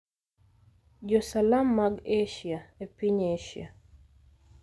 Jo-Salam mag Asia e piny Asia –